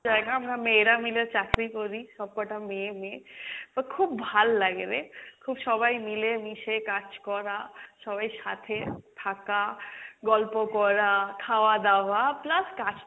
জায়গা, আমরা মেয়েরা মিলে চাকরি করি, সব কটা মেয়ে মেয়ে, তো খুব ভাল লাগে রে। খুব সবাই মিলে মিশে কাজ করা, সবাই সাথে থাকা, গল্প করা, খাওয়া দাওয়া plus কাজ,